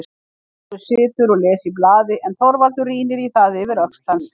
Lárus situr og les í blaði en Þorvaldur rýnir í það yfir öxl hans.